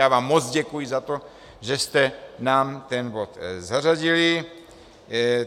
Já vám moc děkuji za to, že jste nám ten bod zařadili.